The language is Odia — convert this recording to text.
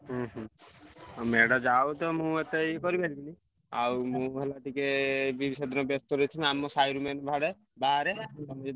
ହୁଁ ହୁଁ ଆଉ ମେଢ ଯାଉଥିବ ମୁଁ ଏତେ ଏ କରିପାରିବିନି ଆଉ ମୁଁ ହେଲା ଟିକେ ଏ ତିକବ ବ୍ୟସ୍ତ ଥିବି ଆମ ।